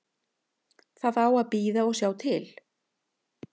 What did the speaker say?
Það á að bíða og sjá til.